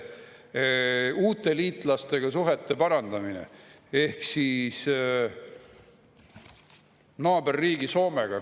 Uute liitlastega suhete parandamine ehk naaberriigi Soomega.